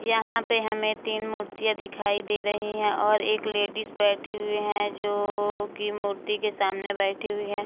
यहाँ पे हमें तीन मुर्तियाँ दिखाई दे रही हैं और एक लेडीज बैठी हुई हैं जो की मूर्ति के सामने बैठी हुई है।